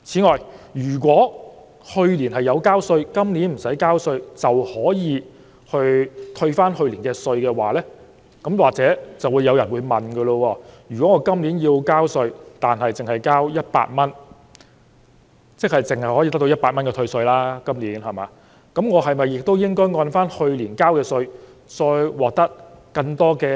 假如去年要繳稅但今年不用繳稅的市民可獲得去年稅款的退稅，有人便會問，他今年要繳稅100元，即今年只可得到100元退稅，那麼，他是否應該按去年所繳稅額而獲得更多退稅？